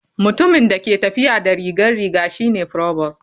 Mutumin da ke tafiya da rigar riga shi ne provost.